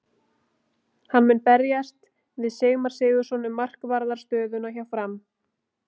Hann mun berjast við Sigmar Sigurðarson um markvarðar stöðuna hjá Fram.